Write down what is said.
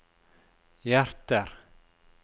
hjerter